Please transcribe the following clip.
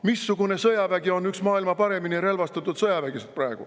Missugune sõjavägi on praegu üks maailma kõige paremini relvastatud sõjavägesid?